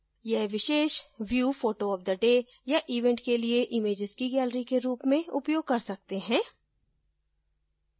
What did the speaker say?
यह विशेष view photooftheday या event के लिए इमैजेस की gallery के रूप में उपयोग कर सकते हैं